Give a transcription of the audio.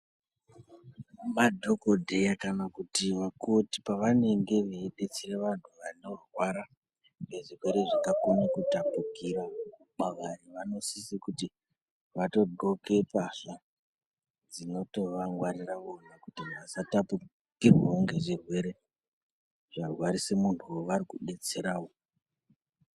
Madhogodheya kana kuti vakoti pavanenge veibetsere vantu vanorwara ngezvirwere zvinokone kutapukira kwavari. Vanosise kuti vatodhloke mbahla dzinotovangwarira vona kuti vasatapukirwavo ngezvirere zvarwarisa muntu vavari kubetseravo.